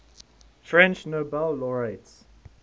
french nobel laureates